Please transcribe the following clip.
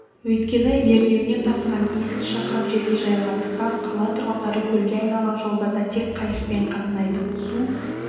өйткені ернеуінен тасыған есіл шақырым жерге жайылғандықтан қала тұрғындары көлге айналған жолдарда тек қайықпен қатынайды су